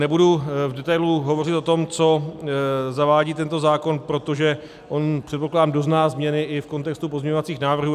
Nebudu v detailu hovořit o tom, co zavádí tento zákon, protože on, předpokládám, dozná změny i v kontextu pozměňovacích návrhů.